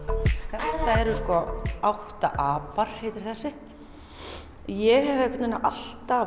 þetta eru sko átta apar heitir þessi ég hef einhvern veginn alltaf